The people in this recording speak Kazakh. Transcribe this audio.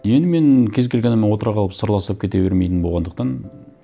енді мен кез келген адаммен отыра қалып сырласып кете бермейтін болғандықтан